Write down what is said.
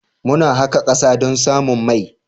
Muna haƙa ƙasa don samun mai.